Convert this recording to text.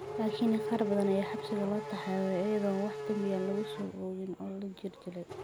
Laakiin qaar badan ayaa xabsiga loo taxaabay iyadoon wax dambi ah lagu soo oogin oo la jirdilay.